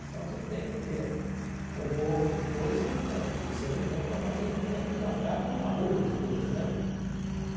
Então você tem que ter um pouco de coisa, de discernimento, para fazer com que aquilo acabe numa boa entre todos, né?